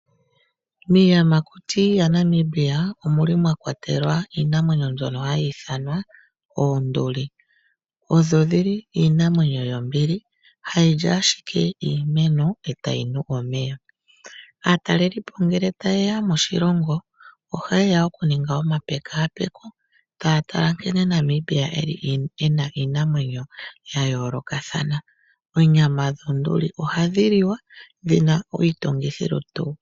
Miiyamakuti yaNamibia omuli mwa kwatelwa iinamwenyo mbyono hayi ithanwa oonduli, odho dhili iinamwenyo yombili hadhi li ashike iimeno etadhi nu omeya. Aataleli po ngele taye ya moshilongo ohaye ya oku ninga omapekapeko taya tala nkene Namibia eli ena iinamwenyo ya yoolokathana. Onyama yoonduli ohadhi li wa dhina iitungithilutu.